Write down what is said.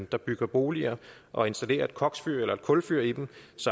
der bygger boliger og installerer et koks eller kulfyr i dem